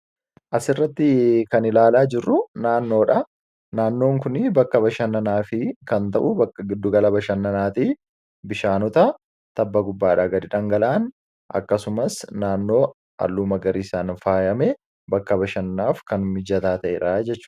Asirratti kan ilaalaa jirru naannoodha. Naannoon kun bakka bashannanaaf kan ta'u bakka giddugala bashannanaati. Bishaanota tabba gubbaa irraa gad dhangala'an akkasumas naannoo haalluu magariisaa faayamee bakka bashannanaaf kan nu tajaajiludha jechuudha.